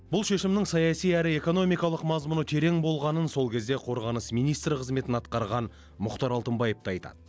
бұл шешімнің саяси әрі экономикалық мазмұны терең болғанын сол кезде қорғаныс министрі қызметін атқарған мұхтар алтынбаев та айтады